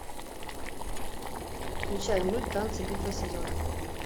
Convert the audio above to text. включай мульт танцы битва сезонов